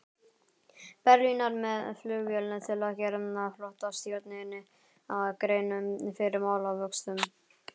Berlínar með flugvél til að gera flotastjórninni grein fyrir málavöxtum.